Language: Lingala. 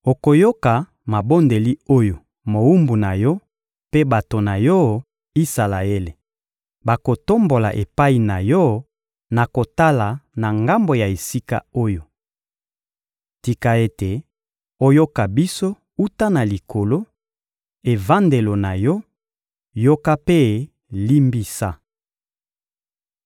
Okoyoka mabondeli oyo mowumbu na Yo mpe bato na Yo, Isalaele, bakotombola epai na Yo na kotala na ngambo ya esika oyo! Tika ete oyoka biso wuta na Likolo, evandelo na Yo; yoka mpe limbisa!